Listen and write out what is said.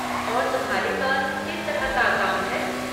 और तुम्हारे पास किस तरह का अकाउंट है?